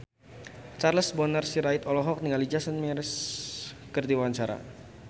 Charles Bonar Sirait olohok ningali Jason Mraz keur diwawancara